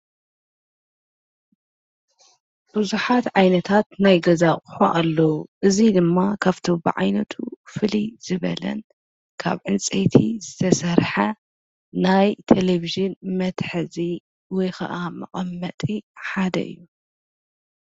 ብዙሓት ዓይነታት ናይ ገዛ አቕሖ ኣሎዉ እዙይ ድማ ካብቲ ብብዓይነቱ ፍልይ ዝበለን ካብ ዕንፀይቲ ዝተሠርሐ ናይ ተለብዥን መትሕዚ ወይኸዓ መቛመጢ ሓደ እዩ።